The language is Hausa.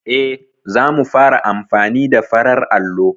E, za mu fara amfani da farar allo.